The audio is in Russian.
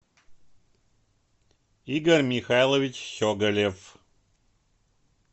игорь михайлович щеголев